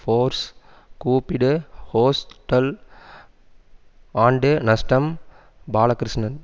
force கூப்பிடு hostel ஆண்டு நஷ்டம் பாலகிருஷ்ணன்